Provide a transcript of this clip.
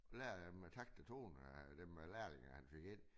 Lære dem takt og tone øh dem lærlinge han fik ind